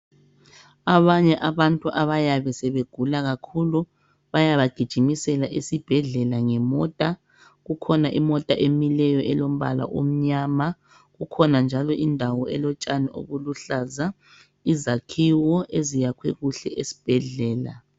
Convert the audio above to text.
Abanye abantu abayabe sebegula kakhulu bayabagijimisela esibhedlela ngemota. Kukhona imota emileyo elombala omnyama, kukhona njalo indawo elotshani obuluhlaza, izakhiwo eziyakhwe kuhle esibhedlela.